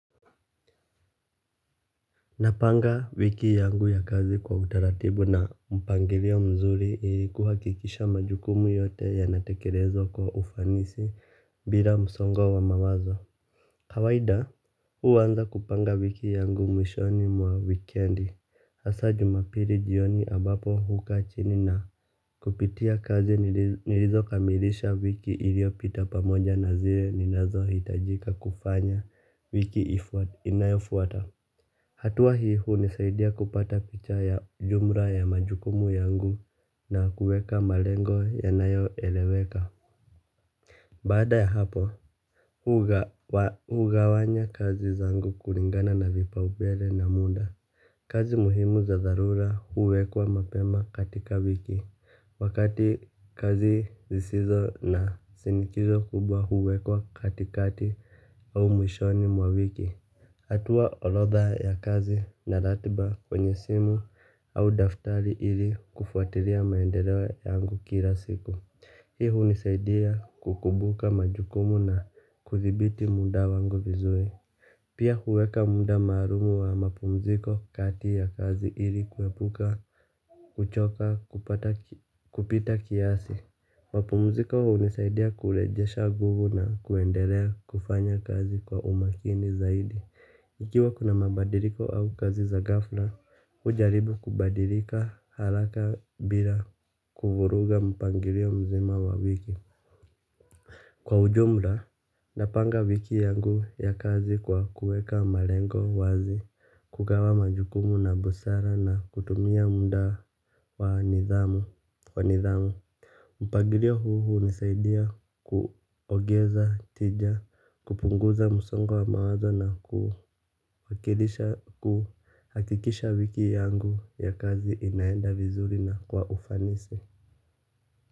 Napanga wiki yangu ya kazi kwa utaratibu na mpangilio mzuri ili kuhakikisha majukumu yote yanatekelezwa kwa ufanisi bila msongo wa mawazo. Kawaida, huanza kupanga wiki yangu mwishoni mwa wikendi. Hasa Jumapili jioni ambapo hukaa chini na kupitia kazi nilizokamilisha wiki iliyopita pamoja na zile ninazohitajika kufanya wiki inayofuata. Hatua hii hunisaidia kupata picha ya jumla ya majukumu yangu na kuweka malengo yanayoeleweka. Baada ya hapo, hugawanya kazi zangu kulingana na vipaumbele na muda. Kazi muhimu za dharura huwekwa mapema katika wiki. Wakati kazi zisizo na shinikizo kubwa huwekwa katikati au mwishoni mwa wiki. Natoa orodha ya kazi na ratiba kwenye simu au daftari ili kufuatila maendeleo yangu kila siku. Hii hunisaidia kukumbuka majukumu na kuthibiti muda wangu vizuri. Pia huweka muda maalum wa mapumziko kati ya kazi ili kuepuka, kuchoka, kupita kiasi. Mapumziko hunisaidia kurejesha nguvu na kuendelea kufanya kazi kwa umakini zaidi. Ikiwa kuna mabadiliko au kazi za ghafla, hujaribu kubadilika haraka bila kuvuruga mpangilio mzima wa wiki kwa ujumla, napanga wiki yangu ya kazi kwa kuweka malengo wazi, kugawa majukumu na busara na kutumia muda kwa nidhamu. Kwa nidhamu. Mpagilio huu hunisaidia kuongeza tija kupunguza msongo wa mawazo na kuhakikisha wiki yangu ya kazi inaenda vizuri na kwa ufanisi.